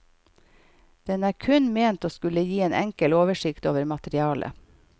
Den er kun ment å skulle gi en enkel oversikt over materialet.